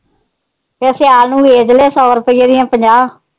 ਫ਼ਿਰ ਸਿਆਲ ਨੂੰ ਬੇਚਲੇ ਸੋ ਰੁਪਈਆ ਦੀਆ ਪੰਜਾਹ